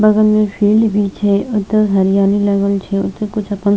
बगल में फील्ड भी छै ओते हरियाली लगल छै ओते कुछ अपन --